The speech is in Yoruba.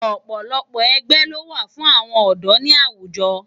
Òpòlòpò ègbè ló wá fún áwòn òdò ni áwújò